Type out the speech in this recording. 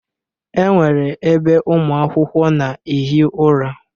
E nwere ebe ụmụ akwụkwọ na-ehi ụra.